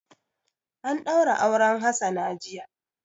An ɗaura auren Hassana jiya.